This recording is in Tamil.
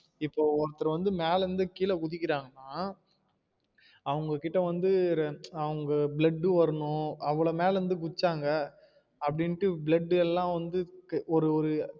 இப்போ ஒருத்தர் வந்து மேல இருந்து கீழ குதிக்குறங்கான அவுங்ககிட்ட வந்து அவுங்க blood வரணும் அவ்லோ மேல இருந்து குதிச்சாங்க அப்படின்ட்டு blood எல்லாம் வந்து ஒரு ஒரு